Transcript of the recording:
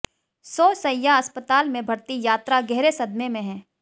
सौ शैय्या अस्पताल में भर्ती यात्रा गहरे सदमे में हैं